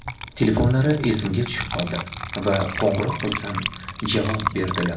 Telefonlari esimga tushib qoldi va qo‘ng‘iroq qilsam, javob berdilar.